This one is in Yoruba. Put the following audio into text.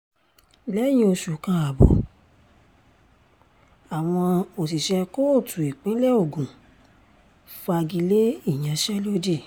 lẹ́yìn oṣù kan ààbọ̀ àwọn òṣìṣẹ́ kóòtù ìpínlẹ̀ ogun fagi lé ìyanṣẹ́lódì